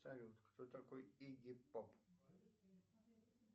салют кто такой игги поп